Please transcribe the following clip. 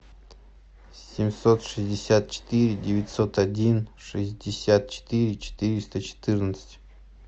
семьсот шестьдесят четыре девятьсот один шестьдесят четыре четыреста четырнадцать